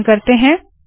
संकलन करते है